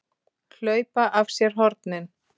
HLAUPA AF SÉR HORNIN!